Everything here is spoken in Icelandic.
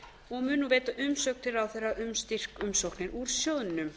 og mun veita umsögn til ráðherra um styrkumsóknir úr sjóðnum